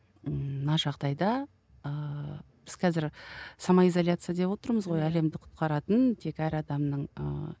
ыыы мына жағдайда ыыы біз қазір самоизоляция деп отырмыз ғой әлемді құтқаратын тек әр адамның ыыы